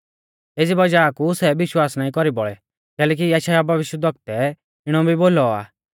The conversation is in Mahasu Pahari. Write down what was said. एज़ी वज़ाह कु सै विश्वास नाईं कौरी बौल़ै कैलैकि यशायाह भविष्यवक्तै इणौ भी बोलौ आ